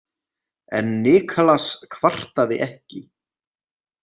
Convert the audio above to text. En Niklas kvartaði ekki.